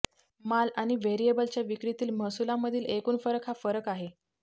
माल आणि व्हेरिएबलच्या विक्रीतील महसूलामधील एकूण फरक हा फरक आहे